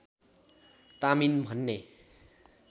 तामिन भन्ने